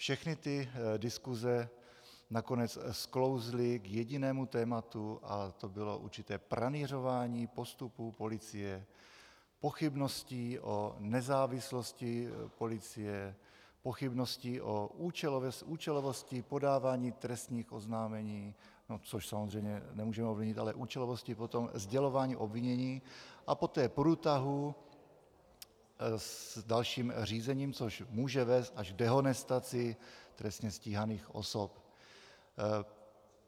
Všechny ty diskuse nakonec sklouzly k jedinému tématu a to bylo určité pranýřování postupu policie, pochybností o nezávislosti policie, pochybností o účelovosti podávání trestních oznámení, což samozřejmě nemůžeme ovlivnit, ale účelovosti potom sdělování obvinění a poté průtahů s dalším řízením, což může vést až k dehonestaci trestně stíhaných osob.